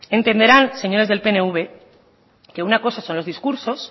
entenderán señores del pnv que una cosa son los discursos